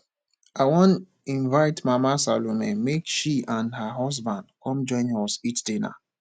i wan invite mama salome make she and her husband come join us eat dinner